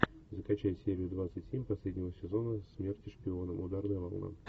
закачай серию двадцать семь последнего сезона смерти шпионам ударная волна